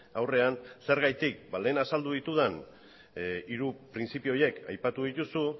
aurrean zergatik ba lehen azaldu ditudan hiru printzipio horiek aipatu dituzu